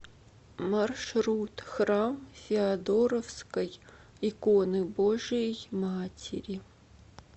маршрут храм феодоровской иконы божией матери